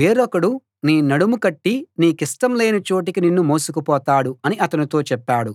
వేరొకడు నీ నడుము కట్టి నీకిష్టం లేని చోటికి నిన్ను మోసుకు పోతాడు అని అతనితో చెప్పాడు